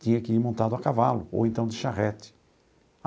Tinha que ir montado a cavalo, ou então de charrete.